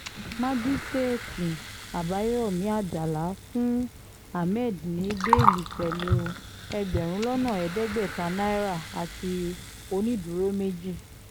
májíṣẹ́ẹ̀tì àbáyọ̀mí àjàlá fún hammed ní bẹ́ẹ́lí pẹ̀lú ẹgbẹ̀rún lọ́nà ẹ̀ẹ́dẹ́gbẹ̀ta náírà àti onídùúró méjì